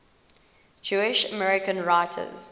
jewish american writers